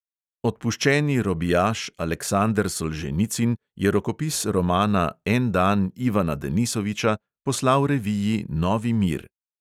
Odpuščeni robijaš aleksander solženicin je rokopis romana en dan ivana denisoviča poslal reviji "novi mir"!